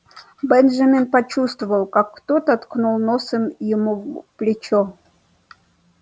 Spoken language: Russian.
бенджамин почувствовал как кто-то ткнул носом ему в плечо